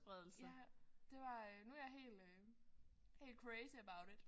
Ja. Det var øh nu er jeg helt øh crazy about it